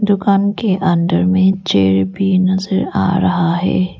दुकान के अंदर में चेयर भी नजर आ रहा है।